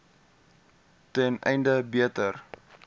ten einde beter